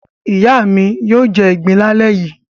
Ìyá mi yóò jẹ ìgbín lálẹ́ yìí.